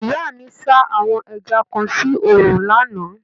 Ìyá mi sá àwọn ẹja kan sí òòrùn lánàá.